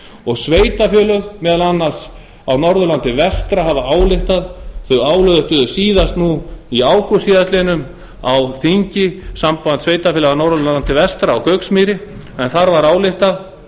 og sveitarfélög á norðurlandi vestra ályktuðu síðast í ágúst síðastliðinn á þingi sambands sveitarfélaga á norðurlandi vestra á gauksmýri en þar var ályktað